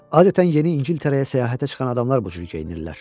Adətən Yeni İngiltərəyə səyahətə çıxan adamlar bu cür geyinirlər.